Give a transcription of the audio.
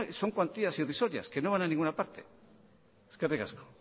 son cuantías irrisorias que no van a ninguna parte eskerrik asko